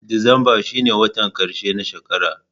Disamba shine watan ƙarshe na shekara.